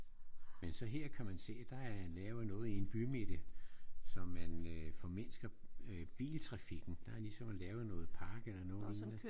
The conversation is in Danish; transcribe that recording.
Men så her kan man se der er lavet noget i en bymidte så man øh formindsker biltrafikken. Der er ligesom lavet noget park eller noget lignende